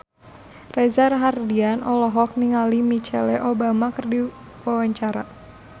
Reza Rahardian olohok ningali Michelle Obama keur diwawancara